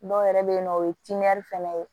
Dɔw yɛrɛ bɛ yen nɔ o ye fana ye